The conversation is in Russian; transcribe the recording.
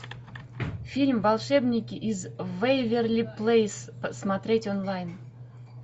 фильм волшебники из вэйверли плэйс смотреть онлайн